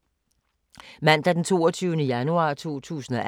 Mandag d. 22. januar 2018